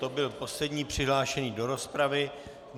To byl poslední přihlášený do rozpravy.